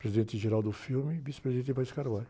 Presidente, e vice-presidente.